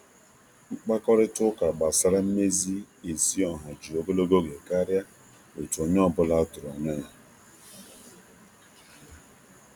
Mkpakorịta ụka um gbasara um mmezi ezi ọha ji ogologo oge karịa otu onye ọ bụla tụrụ um anya ya.